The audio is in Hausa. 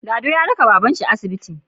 Lado ya raka baban shi asibiti